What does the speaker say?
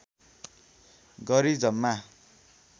गरी जम्मा